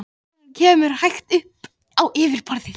Síðan vaknar hann, kemur hægt upp á yfirborðið.